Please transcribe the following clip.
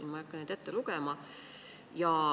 Ma ei hakka seda ette lugema.